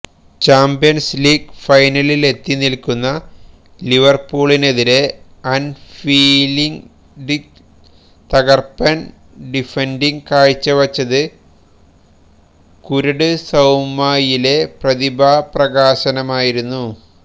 champions league ഫൈനലിലെത്തി നില്ക്കുന്ന ലിവര്പൂളിനെതിരെ ആന്ഫീല്ഡില് തകര്പ്പന് ഡിഫന്ഡിംഗ് കാഴ്ചവെച്ചത് കുര്ട് സൌമയിലെ പ്രതിഭാപ്രകാശനമായിരുന്നു